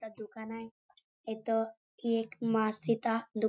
दुकान आहे इथं ही एक मा सिता दुकान--